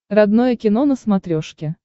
родное кино на смотрешке